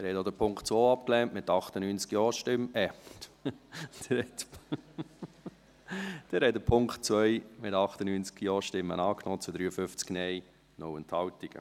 Sie haben auch den Punkt 2 abgelehnt, mit 98 Ja- … Nein, Sie haben den Punkt 2 angenommen, mit 98 Ja- zu 53 Nein-Stimmen bei 0 Enthaltungen.